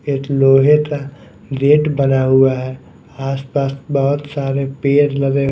एक लोहे का गेट बना हुआ है आस पास बहोत सारे पेड़ लगे--